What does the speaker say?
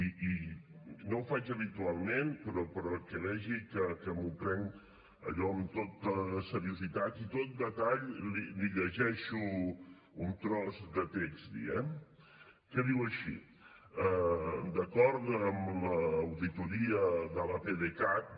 i no ho faig habitualment però perquè vegi que m’ho prenc allò amb tota seriositat i tot detall li llegeixo un tros de text eh que diu així d’acord amb l’auditoria de l’apdcat